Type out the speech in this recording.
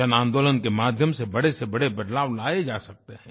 जनआंदोलन के माध्यम से बड़े से बड़े बदलाव लाये जा सकते हैं